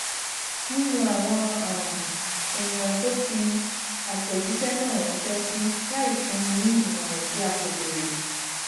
nínú awọn um eniyan to fi atẹjiṣẹ náà ranṣẹ si láì fúnni ní ìmọràn tí a kò béèrè